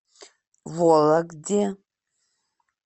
вологде